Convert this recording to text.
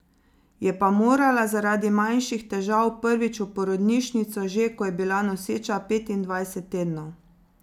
Je pa morala zaradi manjših težav prvič v porodnišnico že, ko je bila noseča petindvajset tednov.